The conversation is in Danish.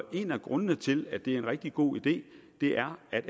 en af grundene til at det er en rigtig god idé er at